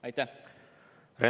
Aitäh!